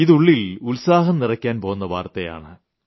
ഇത് ഉളളിൽ ഉത്സാഹം നിറയ്ക്കാൻ പോന്ന വാർത്തയാണ്